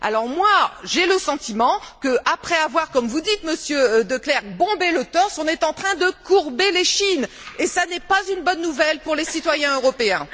Moi, j'ai le sentiment qu'après avoir comme vous dites, Monsieur De Clerck bombé le torse, on est en train de courber l'échine, et ce n'est pas une bonne nouvelle pour les citoyens européens.